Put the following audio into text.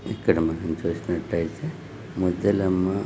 ఇక్కడా మీరు చుసుకున్నట్టు అయితే ముత్యాలమ్మ--